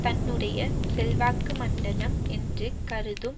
தன்னுடைய செல்வாக்கு மண்டலம் என்று கருதும்